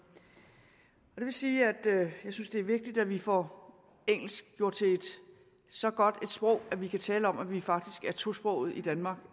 det vil sige at jeg synes det er vigtigt at vi får engelsk gjort til så godt et sprog at vi kan tale om at vi faktisk er tosprogede i danmark